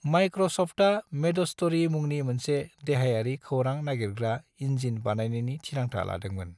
माइक्र'सफ्टआ मेडस्ट'री मुंनि मोनसे देहायारि खौरां नागिरग्रा इन्जिन बायनायनि थिरांथा लादोंमोन।